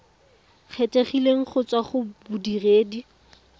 kgethegileng go tswa go bodiredi